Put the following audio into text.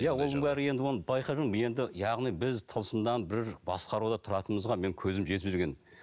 иә оның бәрі енді оны байқап жүрмін енді яғни біз тылсымнан бір басқаруда тұратынымызға менің көзім жетіп жүрген